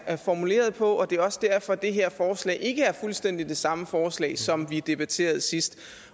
er formuleret på det er også derfor at det her forslag ikke er fuldstændig det samme forslag som vi debatterede sidst